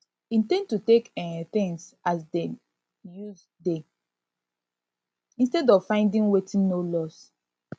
in ten d to take um things as dem use dey instead of finding wetin no loss